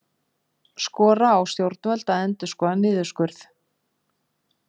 Skora á stjórnvöld að endurskoða niðurskurð